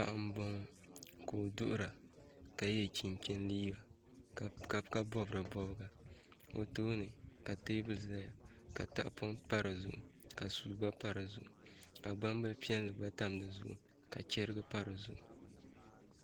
Paɣa n boŋo ka o duɣura ka yɛ chin chin liiga ka bob di bobga o tooni ka teebuli ʒɛya ka tahapoŋ pa di zuɣu ka suu gba pa di zuɣu ka gbambili piɛlli gba pa dizuɣu ka chɛrigi pa di zuɣu